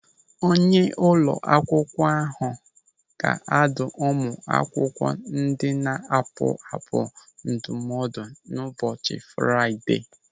Onye ụlọ akwụkwọ ahụ ga-adụ ụmụ akwụkwọ ndị na-apụapụ ndụmọdụ n'ụbọchị Fraịdee.